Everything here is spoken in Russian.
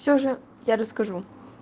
все же я расскажу